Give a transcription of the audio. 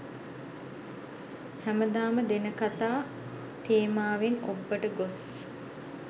හැමදාම දෙන කතා තේමාවෙන් ඔබ්බට ගොස්